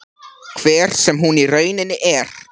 Hver sem hún í rauninni er.